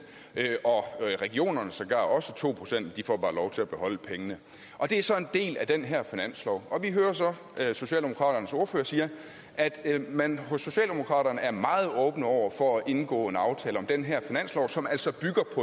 og regionerne sågar også to procent de får bare lov til at beholde pengene og det er så en del af den her finanslov vi hører så at socialdemokraternes ordfører siger at man hos socialdemokraterne er meget åbne over for at indgå en aftale om den her finanslov som altså